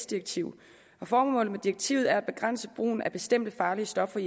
direktiv formålet med direktivet er at begrænse brugen af bestemte farlige stoffer